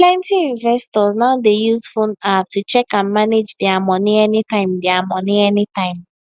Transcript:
plenty investors now dey use phone app to check and manage dia money anytime dia money anytime